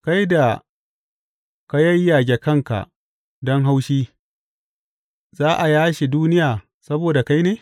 Kai da ka yayyage kanka don haushi, za a yashe duniya saboda kai ne?